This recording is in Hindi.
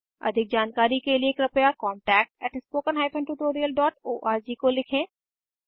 अधिक जानकारी कर लिए कृपया contactspoken tutorialorg को लिखें